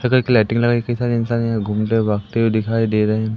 हरे colour की lighting लगाई कई सारे इंसान यहां घूमते हुए भागते हुए दिखाई दे रहे--